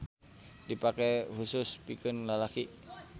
Dipake husus pikeun lalaki.